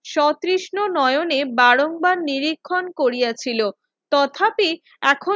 শ্রোতৃষ্ণ নয়নে বরং বার নিরীক্ষণ করিয়াছিল তথাপিক এখন